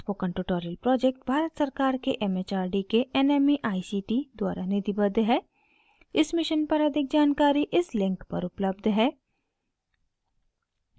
spoken tutorial project Bharat सरकार के M H R D के nmeict द्वारा निधिबद्ध है इस मिशन पर अधिक जानकारी इस लिंक पर उपलब्ध है